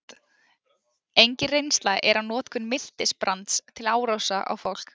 Engin reynsla er af notkun miltisbrands til árása á fólk.